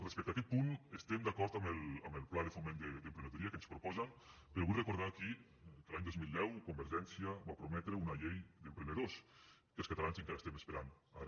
respecte a aquest punt estem d’acord amb el pla de foment d’emprenedoria que ens proposen però vull recordar aquí que l’any dos mil deu convergència va prometre una llei d’emprenedors que els catalans encara estem esperant ara